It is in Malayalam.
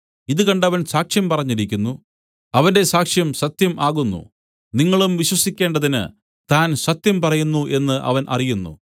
ഇതു കണ്ടവൻ സാക്ഷ്യം പറഞ്ഞിരിക്കുന്നു അവന്റെ സാക്ഷ്യം സത്യം ആകുന്നു നിങ്ങളും വിശ്വസിക്കേണ്ടതിന് താൻ സത്യം പറയുന്നു എന്നു അവൻ അറിയുന്നു